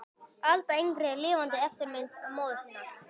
Alda yngri er lifandi eftirmynd móður sinnar.